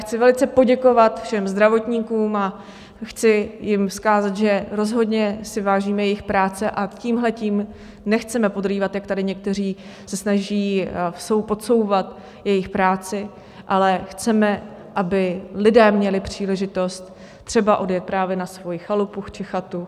Chci velice poděkovat všem zdravotníkům a chci jim vzkázat, že rozhodně si vážíme jejich práce a tímhletím nechceme podrývat, jak tady někteří se snaží podsouvat, jejich práci, ale chceme, aby lidé měli příležitost třeba odjet právě na svoji chalupu či chatu.